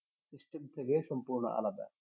system থেকে সম্পূর্ণ আলাদা